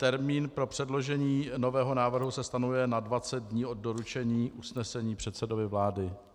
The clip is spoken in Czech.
Termín pro předložení nového návrhu se stanovuje na 20 dní od doručení usnesení předsedovi vlády.